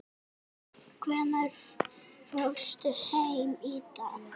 Hvenær fórstu heim í gær?